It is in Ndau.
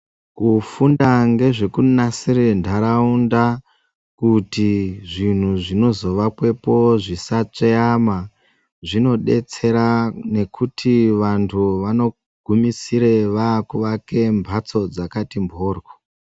Kufunda ngezvekunasire ntararaunda kuti zvinhu zvinozovakwepo zvisatsveyama zvinodetsera nekuti vantu vanogumisire vakuvake mhatso dzakati mporyo.